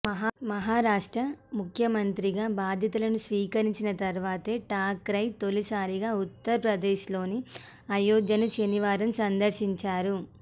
మహారాష్ట్ర ముఖ్యమంత్రిగా బాధ్యతలు స్వీకరించిన తర్వాత ఠాక్రే తొలిసారిగా ఉత్తరప్రదేశ్లోని అయోధ్యను శనివారం సందర్శించారు